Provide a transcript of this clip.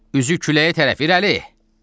Üzü küləyə tərəf, irəli!